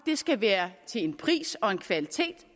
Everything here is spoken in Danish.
skal være